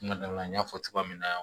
N dala n y'a fɔ cogoya min na